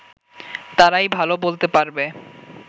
তারাই ভালো বলতে পারবে